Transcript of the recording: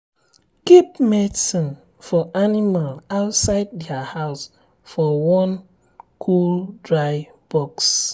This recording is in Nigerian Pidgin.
keep medicine for animal outside their house for one cool dry box.